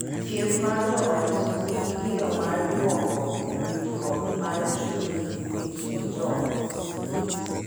Thieth mar joot nigi gino mar duoko winjruok mar chuny e kind jo ot